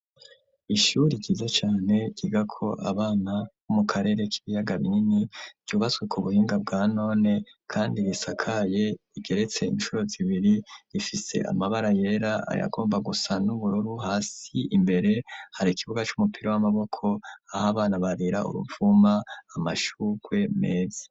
Ishuri jiza cane giga ko abana b'umu karere k'ibiyaga binini ryubaswe ku buhinga bwa none, kandi bisakaye igeretse incuru zibiri rifise amabara yera ayagomba gusan''ubururu hasi imbere hari ikibuga c'umupira w'amaboko aho abana barira uruvuma amashura ukwe mesi.